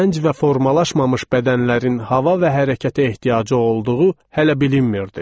Gənc və formalaşmamış bədənlərin hava və hərəkətə ehtiyacı olduğu hələ bilinmirdi.